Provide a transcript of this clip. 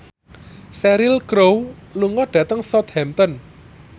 Cheryl Crow lunga dhateng Southampton